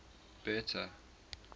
bertha